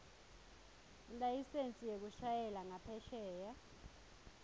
ilayisensi yekushayela ngaphesheya